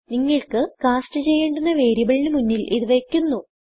നിങ്ങൾക്ക് കാസ്റ്റ് ചെയ്യേണ്ടുന്ന വേരിയബിളിനു മുന്നിൽ ഇത് വയ്ക്കുന്നു